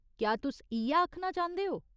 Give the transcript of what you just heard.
क्या तुस इ'यै आखना चांह्दे ओ ?